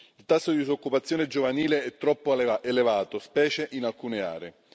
Il tasso di disoccupazione giovanile è troppo elevato, specie in alcune aree.